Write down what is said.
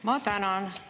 Ma tänan!